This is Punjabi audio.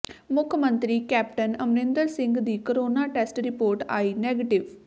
ਮੁੱਖ ਮੰਤਰੀ ਕੈਪਟਨ ਅਮਰਿੰਦਰ ਸਿੰਘ ਦੀ ਕੋਰੋਨਾ ਟੈਸਟ ਰਿਪੋਰਟ ਆਈ ਨੈਗੇਟਿਵ